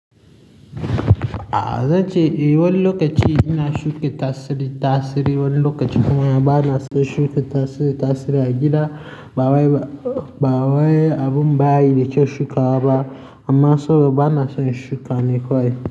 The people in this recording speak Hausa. A zan ce eh, wani lokaci ina shuka tasiri, tasiri wani lokaci kuma bana son shuka tasiri, tasiri a gida. Ba wai, ba wai abun ba yi da kyau shuka waba. Amma sabida bana son shukawa ne kawai.